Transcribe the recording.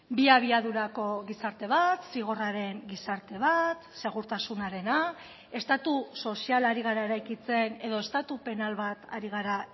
bi abiadurako gizarte bat zigorraren gizarte bat segurtasunarena estatu soziala ari gara eraikitzen edo estatu penal bat ari gara